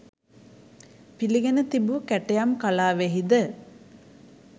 පිළිගෙන තිබූ කැටයම් කලාවෙහිද